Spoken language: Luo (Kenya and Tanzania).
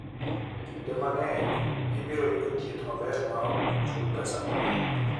Kinde mang'eny, ibiro yudo thieth maber maok chul pesa mang'eny.